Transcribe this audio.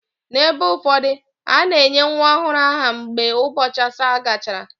N’ebe ụfọdụ, a na-enye nwa ọhụrụ aha mgbe ụbọchị asaa gachara.